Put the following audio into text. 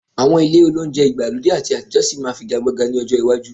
Àwọn ilé olóunjẹ ìgbàlódé àti ti àtijọ́ sì máa figagbága lọ́jọ́ iwájú